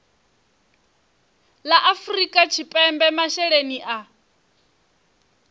la afrika tshipembe masheleni a